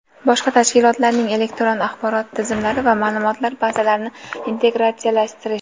boshqa tashkilotlarning elektron axborot tizimlari va maʼlumotlar bazalarini integratsiyalashtirish;.